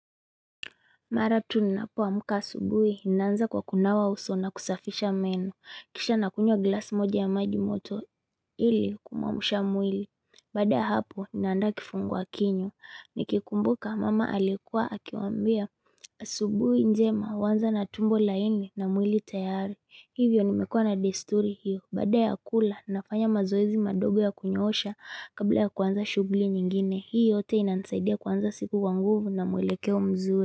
Mara tu ninapoamka asubuhi, ninaanza kwa kunawa uso na kusafisha meno. Kisha nakunywa glass moja ya majimoto ili kumuamusha mwili. Baada ya hapo, ninaanda kifungua kinywa. Nikikumbuka, mama alikuwa, akiwaambia. Asubuhi njema, huanza na tumbo laini na mwili tayari. Hivyo nimekua na desturi hiyo. Bada ya kula, nafanya mazoezi madogo ya kunyoosha kabla ya kuanza shughli nyingine. Hii yote inanisaidia kuanza siku kwa nguvu na mwelekeo mzuri.